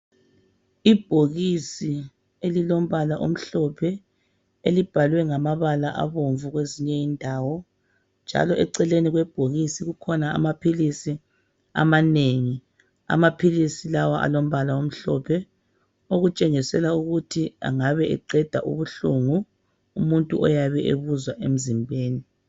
Ibhokisi elilombala omhlophe elibhalwe ngamabala abomvu kwezinye indawo, njalo eceleni kwebhokisi kukhona amaphilisi amanengi, amaphilisi lawa alombala omhlophe okutshengisela ukuthi angabe eqeda ubuhlungu umuntu oyabe ebuzwa emzimbeni.